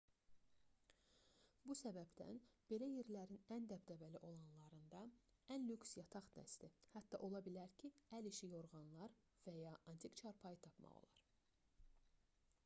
bu səbəbdən belə yerlərin ən dəbdəbəli olanlarında ən lüks yataq dəsti hətta ola bilər ki əl işi yorğanlar və ya antik çarpayı tapmaq olar